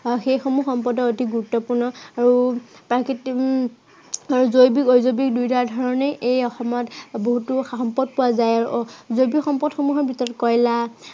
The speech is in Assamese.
আৰু সেই সমূহ সম্পদৰ অতি গুৰুত্বপূৰ্ণ আৰু তাৰ কৃত্ৰিম উম জৈৱিক-অজৈৱিক দুইটা ধৰণে এই অসমত বহুতো সম্পদ পোৱা যায়। জৈৱিক সম্পদসমূহৰ ভিতৰত কয়লা